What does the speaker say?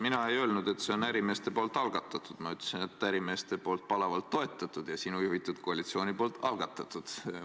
Mina ei öelnud, et see on ärimeeste algatatud, ma ütlesin, et see on ärimeeste poolt palavalt toetatud ja sinu juhitud koalitsiooni algatatud.